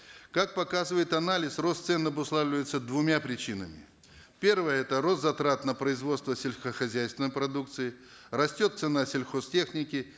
как показывает анализ рост цен обуславливается двумя причинами первое это рост затрат на производство сельскохозяйственной продукции растет цена сельхозтехники